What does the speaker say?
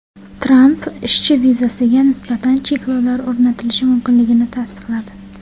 Tramp ishchi vizasiga nisbatan cheklovlar o‘rnatilishi mumkinligini tasdiqladi.